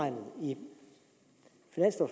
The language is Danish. et